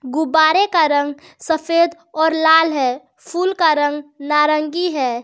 गुब्बारे का रंग सफेद और लाल है फूल का रंग नारंगी है।